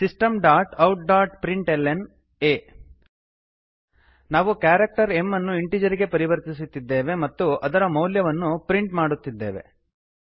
systemoutಪ್ರಿಂಟ್ಲ್ನ system dot out dot println a ನಾವು character m ಎಮ್ಅನ್ನು integer ಗೆ ಪರಿವರ್ತಿಸುತ್ತಿದ್ದೇವೆ ಮತ್ತು ಅದರ ಮೌಲ್ಯವನ್ನು ಪ್ರಿಂಟ್ ಮಾಡುತ್ತಿದ್ದೇವೆ